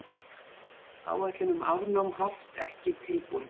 Áætlun um afnám haft ekki tilbúin